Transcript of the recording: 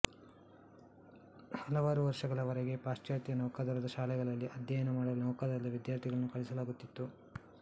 ಹಲವಾರು ವರ್ಷಗಳವರೆಗೆ ಪಾಶ್ಚಾತ್ಯ ನೌಕಾದಳದ ಶಾಲೆಗಳಲ್ಲಿ ಅಧ್ಯಯನ ಮಾಡಲು ನೌಕಾದಳದ ವಿದ್ಯಾರ್ಥಿಗಳನ್ನು ಕಳಿಸಲಾಗುತ್ತಿತ್ತು